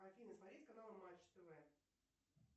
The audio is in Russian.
афина смотреть канал матч тв